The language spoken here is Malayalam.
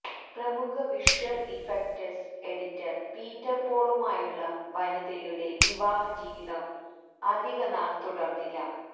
പ്രമുഖ വിഷ്വല് ഇഫക്റ്റ്സ് എഡിറ്റര് പീറ്റര് പോളുമായുള്ള വനിതയുടെ വിവാഹജീവിതം അധികനാൾ തുടര്ന്നില്ല